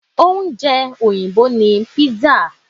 Ọúnjẹ Òyìnbó ni pizza